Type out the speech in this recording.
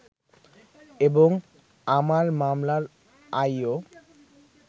এবং আমার মামলার আইও